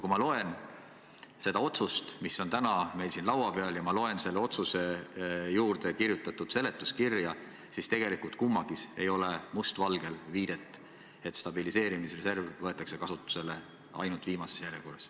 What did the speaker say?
Kui ma loen seda otsust, mis meil on täna siin laua peal, ja loen selle otsuse juurde kirjutatud seletuskirja, siis tegelikult kummaski ei ole must valgel viidet, et stabiliseerimisreserv võetakse kasutusele ainult viimases järjekorras.